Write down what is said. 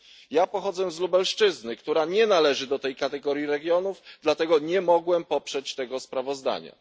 Ja pochodzę z Lubelszczyzny, która nie należy do tej kategorii regionów, dlatego nie mogłem poprzeć tego sprawozdania.